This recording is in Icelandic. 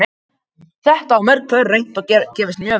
Þetta hafa mörg pör reynt og gefist mjög vel.